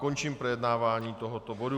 Končím projednávání tohoto bodu.